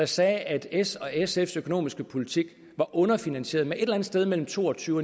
sagde at s og sfs økonomiske politik er underfinansieret med et eller andet sted mellem to og tyve